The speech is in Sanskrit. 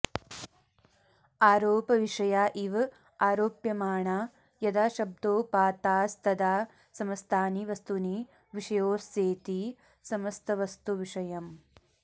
आरोपविषया इव आरोप्यमाणा यदा शब्दोपात्तास्तदा समस्तानि वस्तूनि विषयोऽस्येति समस्तवस्तुविषयम्